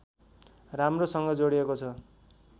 राम्रोसँग जोडिएको छ